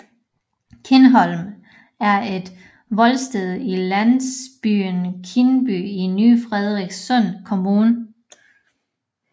Kindholm er et voldsted i landsbyen Kyndby i ny Frederikssund Kommune